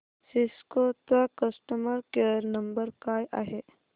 Cisco चा customer care number काय आहे